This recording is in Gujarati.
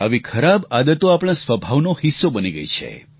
આવી ખરાબ આદતો આપણા સ્વભાવનો હિસ્સો બની ગઈ છે